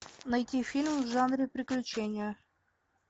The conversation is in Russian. найти фильм в жанре приключения